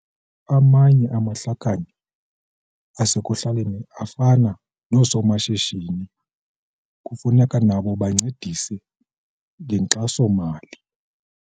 Amanye amahlakani asekuhlaleni afana noosomashishini kufuneka nabo bancedise ngenkxaso-mali.